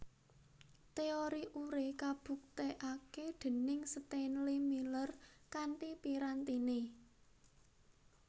Teori Urey kabuktèkaké déning Stainléy Miller kanthi pirantiné